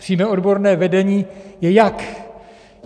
Přímé odborné vedení je jak?